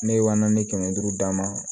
Ne ye wa naani ni kɛmɛ duuru d'a ma